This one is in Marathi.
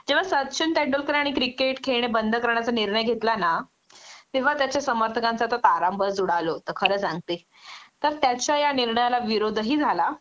जेंव्हा सचिन तेंडुलकरांनी क्रिकेट खेळणे बंद करण्याचा निर्णय घेतला ना तेंव्हा त्याचा समर्थकांचा तर तारंबळच उडाल होतं खरं सांगते तर त्याच्या या निर्णयाला विरोधही झाला